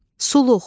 Suluq,